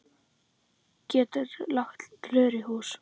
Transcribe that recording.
Gætirðu lagt rör í hús?